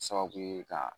Sababu ye ka